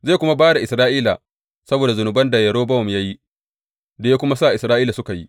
Zai kuma ba da Isra’ila saboda zunuban da Yerobowam ya yi, da ya kuma sa Isra’ila suka yi.